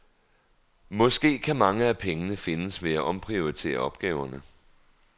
Måske kan mange af pengene findes ved at omprioritere opgaverne.